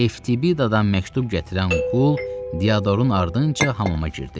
Eftibidədan məktub gətirən qul Diadorun ardınca hamama girdi.